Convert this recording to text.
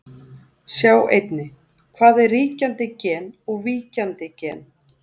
Sjá einnig: Hvað er ríkjandi gen og víkjandi gen?